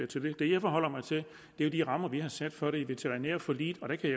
til det det jeg forholder mig til er de rammer vi har sat for det i veterinærforliget og der kan